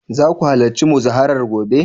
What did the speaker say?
za ku halarci muzaharar gobe?